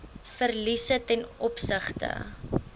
verliese ten opsigte